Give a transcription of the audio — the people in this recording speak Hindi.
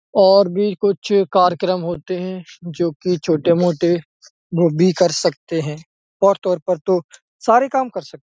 और बी कुछ कार्यक्रम होते हैं जोकि छोटे-मोटे बो बी कर सकते हैं और तौर पर तो सारे काम कर सक --